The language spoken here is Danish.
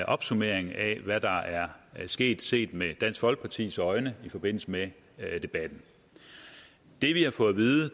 opsummering af hvad der er sket set med dansk folkepartis øjne i forbindelse med debatten det vi har fået at vide